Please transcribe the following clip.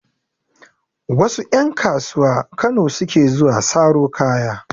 Wasu ƴan kasuwa Kano suke zuwa saro kaya.